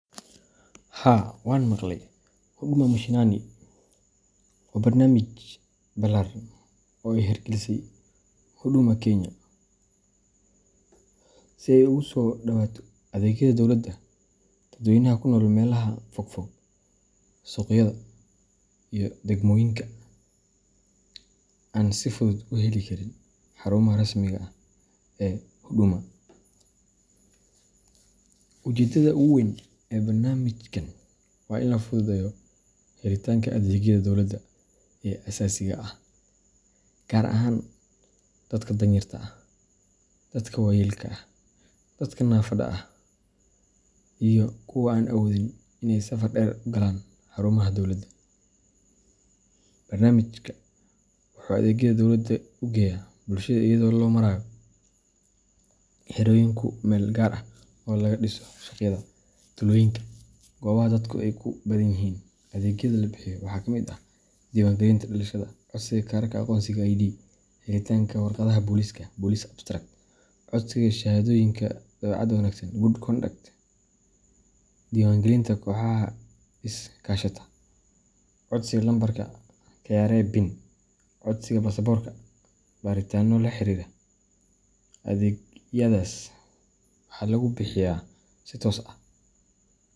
Haa wan maqlay. Huduma Mashinani waa barnaamij ballaaran oo ay hirgelisay Huduma Kenya si ay ugu soo dhowaato adeegyada dowladda dadweynaha ku nool meelaha fogfog, suuqyada, iyo degmooyinka aan si fudud u heli karin xarumaha rasmiga ah ee Huduma. Ujeeddada ugu weyn ee barnaamijkan waa in la fududeeyo helitaanka adeegyada dowladda ee aasaasiga ah, gaar ahaan dadka danyarta ah, dadka waayeelka ah, dadka naafada ah, iyo kuwa aan awoodin in ay safar dheer u galaan xarumaha dowladda. Barnaamijkan wuxuu adeegyada dowladda u geeyaa bulshada iyadoo loo marayo xerooyin ku meel gaar ah oo laga dhiso suuqyada, tuulooyinka, iyo goobaha dadku ku badan yihiin. Adeegyada la bixiyo waxaa ka mid ah: diiwaangelinta dhalashada, codsiga kaararka aqoonsiga ID, helitaanka warqadaha booliska police abstracts, codsiga shahaadooyinka dabeecadda wanaagsan good conduct, diiwaangelinta kooxaha is kaashatada, codsiga lambarka KRA PIN, codsiga baasaboorka, iyo baaritaanada la xiriira. Adeegyadaas waxaa lagu bixiyaa si toos ah.